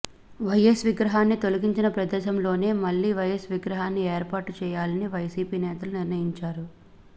YS విగ్రహాన్ని తొలగించిన ప్రదేశంలోనే మళ్లీ వైఎస్ విగ్రహాన్ని ఏర్పాటు చేయాలని వైసీపీ నేతలు నిర్ణయించారు